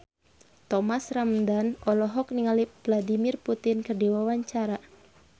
Thomas Ramdhan olohok ningali Vladimir Putin keur diwawancara